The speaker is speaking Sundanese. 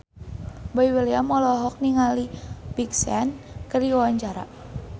Boy William olohok ningali Big Sean keur diwawancara